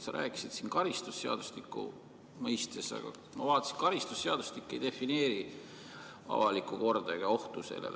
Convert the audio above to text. Sa rääkisid siin karistusseadustiku mõistes, aga ma vaatasin, et karistusseadustik ei defineeri avalikku korda ega ohtu sellele.